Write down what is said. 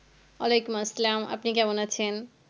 ওয়ালাইকুম আসসালাম আপনি কেমন আছেন?